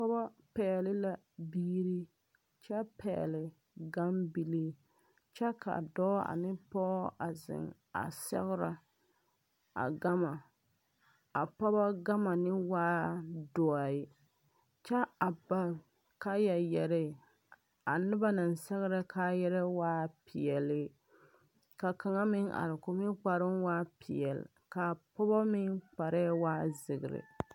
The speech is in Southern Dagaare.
Pɔgeba pɛgle la biiri kyɛ pɛgle gambilii kyɛ ka dɔɔ ane pɔge a zeŋ a sɛgrɛ a gama a pɔgɔ gama ne waaɛ dɔɛ kyɛ a ba kaya yɛree a noba naŋ sɛgrɛ kayɛrɛɛ waaɛ peɛle ka kaŋ meŋ are k,o meŋ kpareoo waa peɛle ka a pɔgɔ meŋ kparɛɛ waa zēērē.